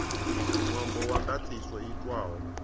ṅwambo wa ndaṱiso i itwaho